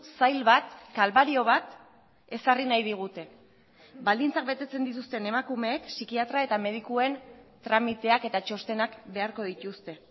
zail bat kalbario bat ezarri nahi digute baldintzak betetzen dituzten emakumeek psikiatra eta medikuen tramiteak eta txostenak beharko dituzte